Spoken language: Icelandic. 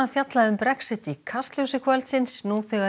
fjallað um Brexit í Kastljósi kvöldsins nú þegar